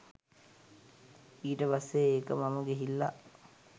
ඊට පස්සේ ඒක මම ගිහිල්ලා